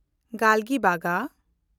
ᱜᱟᱞᱜᱤᱵᱟᱜᱟ